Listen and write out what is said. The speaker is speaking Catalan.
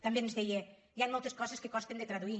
també ens deien hi han moltes coses que costen de traduir